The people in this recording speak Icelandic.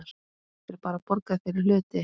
Er bara borgað fyrir hluti?